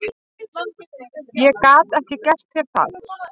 Ég gat ekki gert þér það.